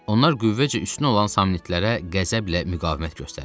Onlar qüvvəcə üstün olan samnitlərə qəzəblə müqavimət göstərirdilər.